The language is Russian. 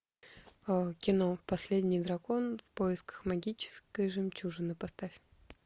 кино последний дракон в поисках магической жемчужины поставь